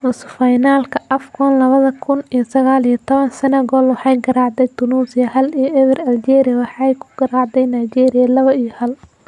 Nusu Finalka AFCON lawadha kun iyo saqal iyo tawan: Senegal waxay garaacday Tunisia hal iyo ewer, Algeria waxayna ku garaacday Nigeria lawo iyo hal.